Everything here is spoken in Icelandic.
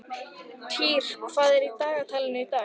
Týr, hvað er á dagatalinu í dag?